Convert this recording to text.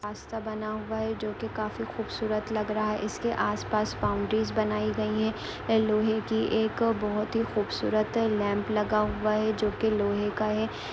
रास्ता बना हुआ है जोकि काफी खूबसूरत लग रहा है। इसके आसपास बाउंड्रीज बनाई गई हैं ये लोहे की एक बहुत ही खूबसूरत लैंप लगा हुआ है जोकि लोहे का है।